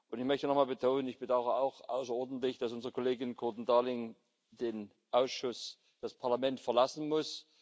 Ich möchte noch einmal betonen Ich bedauere auch außerordentlich, dass unsere Kollegin Kirton Darling den Ausschuss, das Parlament verlassen muss.